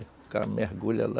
O cara mergulha lá.